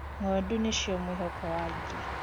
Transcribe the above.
Ng'ondu nicio mwihoko wa aingi.